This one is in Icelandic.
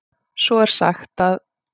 Svo er sagt að.